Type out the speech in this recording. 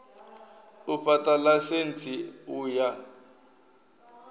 u fha ḽaisentsi u ya